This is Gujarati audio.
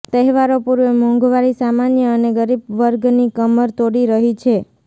તહેવારો પૂર્વે મોંઘવારી સામાન્ય અને ગરીબ વર્ગની કમર તોડી રહી છે